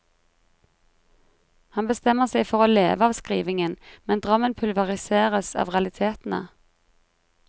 Han bestemmer seg for å leve av skrivingen, men drømmen pulveriseres av realitetene.